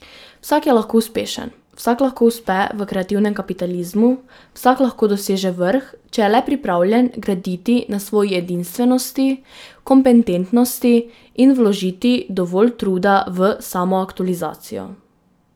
Vsak je lahko uspešen, vsak lahko uspe v kreativnem kapitalizmu, vsak lahko doseže vrh, če je le pripravljen graditi na svoji edinstvenosti, kompetentnosti in vložiti dovolj truda v samoaktualizacijo.